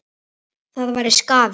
Það væri skaði.